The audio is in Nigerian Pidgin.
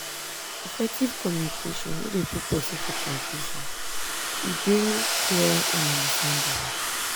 effective communication no de put persin for confusion e de dey clear and understandable